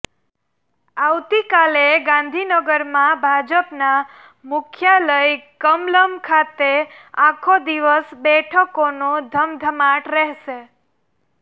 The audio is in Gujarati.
આવતીકાલે ગાંધીનગરમાં ભાજપના મુખ્યાલય કમલમ ખાતે આખો દિવસ બેઠકોનો ધમધમાટ રહેશે